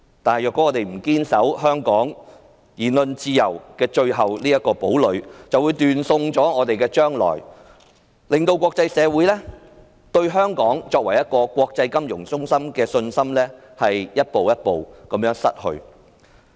但是，如果我們不堅守香港的言論自由這個最後堡壘，便會斷送我們的將來，令國際社會對香港作為國際金融中心的信心逐步失去。